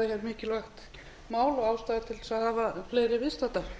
að við séum að fara að ræða hér mikilvægt mál og að ástæða sé til að